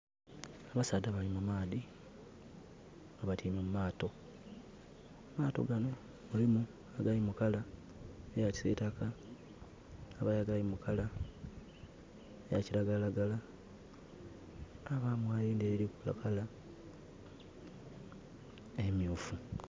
Abasaadha bali mu maadhi nga batyaime mu maato. Amaato ganho gali mu color eya kisitaaka. Ghabayo agali mu color eya kilagala lagala, ghabayo erindhi erili mu color emyufu.